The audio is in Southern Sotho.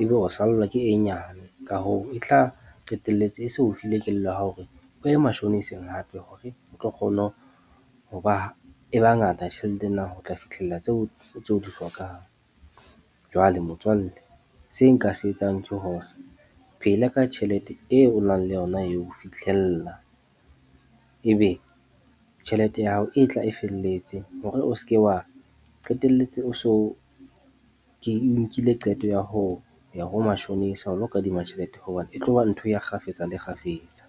ebe o sallwa ke e nyane, ka hoo, e tla qetelletse e se o file kelello ya hore o ye mashoniseng hape hore o tlo kgona ho ba e ba e bangata tjhelete ena ho tla fihlella tseo tse o di hlokang. Jwale motswalle seo nka se etsang hore phela ka tjhelete eo o nang le yona eo, ho fihlella ebe tjhelete ya hao e tla e felletse. Hore o se ke wa qetelletse o so ke nkile qeto ya ho ya ho mashonisa o lo kadima tjhelete hoba e tlo ba ntho ya kgafetsa le kgafetsa.